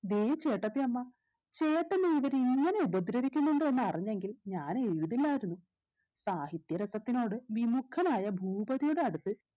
ദേ ചേട്ടത്തിയമ്മ ചേട്ടനെ ഇവര് ഇങ്ങനെ ഉപദ്രവിക്കുന്നുണ്ടെന്ന് അറിഞ്ഞെങ്കിൽ ഞാൻ എഴുതില്ലായിരുന്നു സാഹിത്യ രസത്തിനോട് വിമുഖനായ ഭൂപതിയുടെ അടുത്ത്